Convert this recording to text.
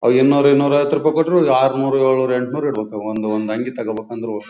ಐನೂರು ಐನೂರು ಐವತು ರೂಪಾಯಿ ಕೊಡ್ರು ಆರ್ ನೂರು ಏಳು ನೂರು ಎಂಟು ನೂರು ಇಡ್ಬೇಕು ಒಂದು ಒಂದು ಅಂಗಿ ತಗೋಬೇಕು ಅಂದ್ರು ಓ--